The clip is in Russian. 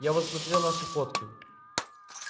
я вот смотрел наши фотки